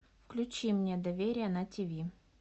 включи мне доверие на тв